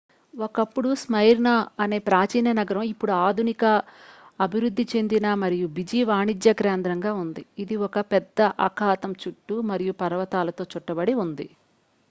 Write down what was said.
ఒకప్పుడు స్మైర్నా అనే ప్రాచీన నగరం ఇప్పుడు ఆధునిక అభివృద్ధి చెందిన మరియు బిజీ వాణిజ్య కేంద్రంగా ఉంది ఇది ఒక పెద్ద అఖాతం చుట్టూ మరియు పర్వతాలతో చుట్టబడి ఉంది